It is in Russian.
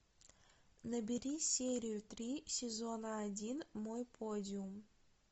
набери серию три сезона один мой подиум